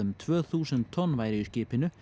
tvö þúsund tonn væru í skipinu